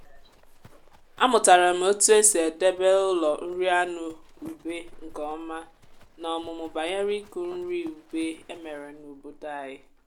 umu m na-eme ugbo n’ụlọ kemgbe ụlọ akwụkwọ anyị tinyere mmụta gbasara mkpụrụ nri.